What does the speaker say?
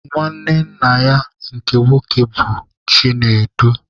Nwanne nna ya nke nwoke bụ Chinedu.